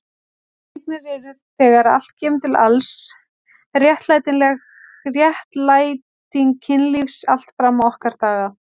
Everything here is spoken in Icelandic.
Barneignir eru þegar allt kemur til alls réttlæting kynlífs allt fram á okkar daga.